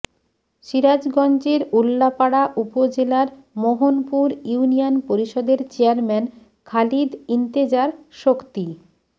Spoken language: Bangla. সিরাজগঞ্জের উল্লাপাড়া উপজেলার মোহনপুর ইউনিয়ন পরিষদের চেয়ারম্যান খালিদ ইন্তেজার শক্তি